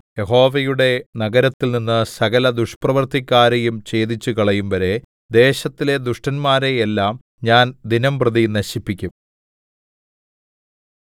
യഹോവയുടെ നഗരത്തിൽനിന്ന് സകല ദുഷ്പ്രവൃത്തിക്കാരെയും ഛേദിച്ചുകളയും വരെ ദേശത്തിലെ ദുഷ്ടന്മാരെ എല്ലാം ഞാൻ ദിനംപ്രതി നശിപ്പിക്കും